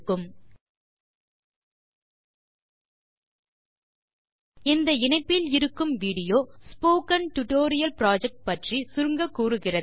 இந்தURL இல் வீடியோ காட்சிகளைப் பார்க்கவும் இந்த இணைப்பில் இருக்கும் வீடியோ ஸ்போக்கன் டியூட்டோரியல் புரொஜெக்ட் பற்றி சுருங்க கூறுகிறது